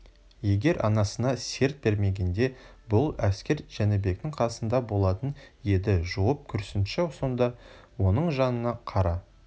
егер анасына серт бермегенде бұл әскер жәнібектің қасында болатын еді жуып көрсінші сонда оның жанына қара